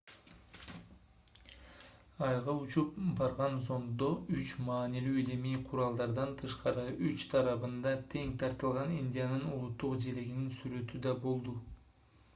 айга учуп барган зонддо үч маанилүү илимий куралдардан тышкары үч тарабында тең тартылган индиянын улуттук желегинин сүрөтү да болду